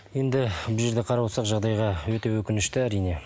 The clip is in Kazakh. енді бұл жерде қарап отырсақ жағдайға өте өкінішті әрине